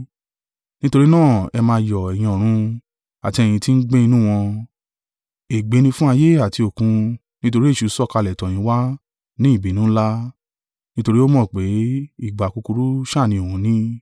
Nítorí náà ẹ máa yọ̀, ẹ̀yin ọ̀run, àti ẹ̀yin tí ń gbé inú wọn. Ègbé ni fún ayé àti Òkun; nítorí èṣù sọ̀kalẹ̀ tọ̀ yín wá ní ìbínú ńlá, nítorí ó mọ̀ pé ìgbà kúkúrú sá ni òun ní.”